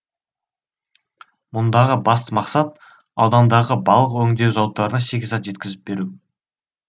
мұндағы басты мақсат аудандағы балық өңдеу зауыттарына шикізат жеткізіп беру